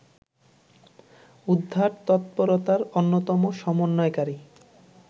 উদ্ধার তৎপরতার অন্যতম সম্বন্বয়কারী